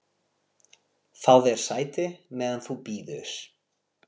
Fáðu þér sæti, meðan þú bíður